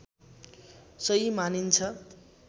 सही मानिन्छ